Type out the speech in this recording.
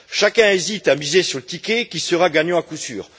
Chacun hésite à miser sur le ticket qui sera gagnant à coup sûr.